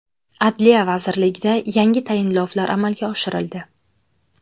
Adliya vazirligida yangi tayinlovlar amalga oshirildi.